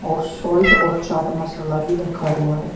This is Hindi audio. और शाल्ट और चाट मसाला भी रखा हुआ है।